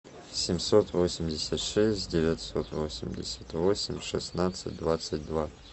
семьсот восемьдесят шесть девятьсот восемьдесят восемь шестнадцать двадцать два